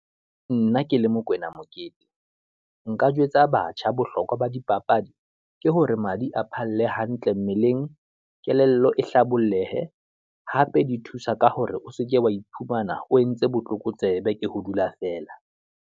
Nna ke le Mokwena Mokete, nka jwetsa batjha bohlokwa ba dipapadi, ke hore madi a phalle hantle mmeleng, kelello e hlabolohe, hape di thusa ka hore o seke wa iphumana o entse botlokotsebe, ke ho dula feela.